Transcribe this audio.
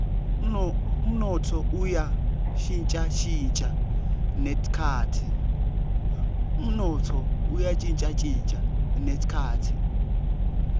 umnotfo uya shintjashintja netikhatsi